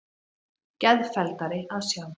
Geðfelldari að sjá.